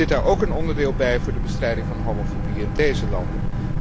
Zit daar ook een onderdeel bij voor de bestrijding van homofobie in deze landen?